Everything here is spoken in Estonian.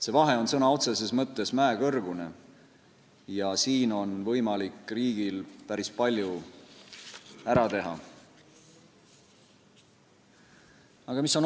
See vahe on sõna otseses mõttes mäekõrgune ja siin on võimalik riigil päris palju ära teha.